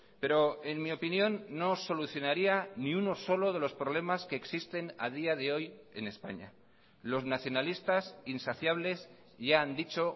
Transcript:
pero en mi opinión no solucionaría ni uno solo de los problemas que existen a día de hoy en españa los nacionalistas insaciables ya han dicho